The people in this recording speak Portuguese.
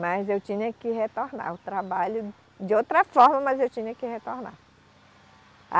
Mas eu tinha que retornar ao trabalho, de outra forma, mas eu tinha que retornar.